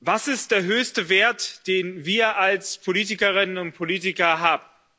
Was ist der höchste Wert, den wir als Politikerinnen und Politiker haben?